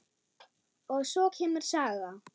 Og svo kemur saga: